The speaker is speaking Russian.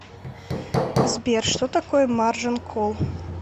сбер что такое маржин колл